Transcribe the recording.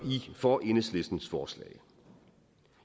for enhedslistens forslag